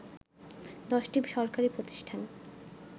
১০টি সরকারি প্রতিষ্ঠান